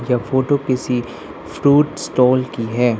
यह फोटो किसी fruit stall की है।